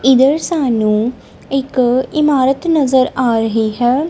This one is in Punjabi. ਇਧਰ ਸਾਨੂੰ ਇੱਕ ਇਮਾਰਤ ਨਜ਼ਰ ਆ ਰਹੀ ਹੈ।